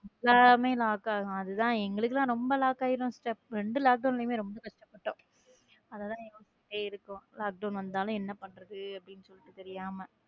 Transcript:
எல்லாமே lock ஆகும் அது தான் எங்களுக்கு எல்லாம் ரொம்ப lock ஆயிடுது sister இரண்டு lockdown மே ரொம்ப பிரச்சனை sister lockdown வந்தாலும் என்ன பண்றது.